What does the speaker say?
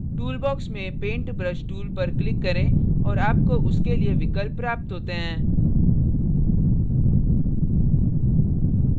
tool box में paint brush tool पर click करें और आपको उसके लिए विकल्प प्राप्त होते हैं